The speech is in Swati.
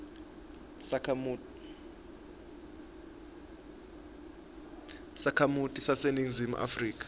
sakhamuti saseningizimu afrika